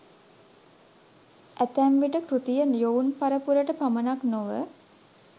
ඇතැම්විට කෘතිය යොවුන් පරපුරට පමණක් නොව